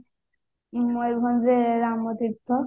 ମୟୂରଭଞ୍ଜରେ ରାମତୀର୍ଥ